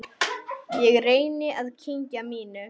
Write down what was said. Ég reyni að kyngja mínu.